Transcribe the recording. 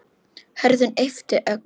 Hörður yppti öxlum.